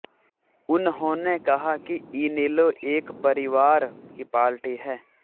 उन्होंने कहा कि इनेलो एक परिवार की पार्टी है